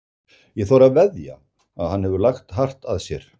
Ég þori að veðja að hann hefur lagt hart að sér.